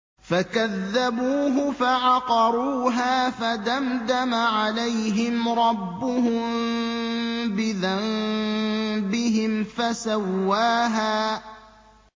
فَكَذَّبُوهُ فَعَقَرُوهَا فَدَمْدَمَ عَلَيْهِمْ رَبُّهُم بِذَنبِهِمْ فَسَوَّاهَا